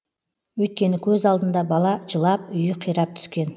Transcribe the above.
өйткені көз алдында бала жылап үйі қирап түскен